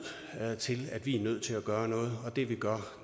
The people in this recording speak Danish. til at vi er nødt til at gøre noget og det vi gør